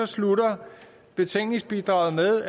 slutter betænkningsbidraget med